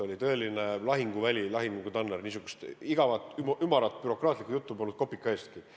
Oli tõeline lahinguväli, lahingutanner – igavat ümarat bürokraatlikku juttu polnud kopika eestki.